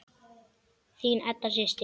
Þín Edda systir.